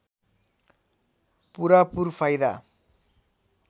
पूरापुर फाइदा